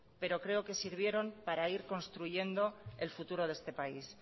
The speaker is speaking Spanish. pero creo que sirvieron para ir construyendo el futuro de este país